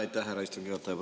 Aitäh, härra istungi juhataja!